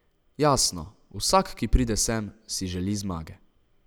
Jasno, vsak, ki pride sem, si želi zmage.